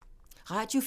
Radio 4